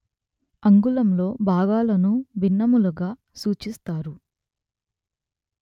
అంగుళంలో భాగాలను భిన్నములుగా సూచిస్తారు